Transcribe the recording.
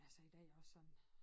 Altså i dag også sådan